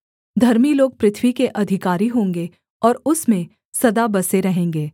धर्मी लोग पृथ्वी के अधिकारी होंगे और उसमें सदा बसे रहेंगे